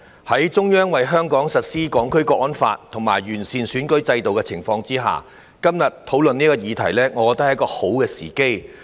在中央為香港實施《香港國安法》和完善選舉制度的情況下，今天討論這個議題，我認為是好的時機。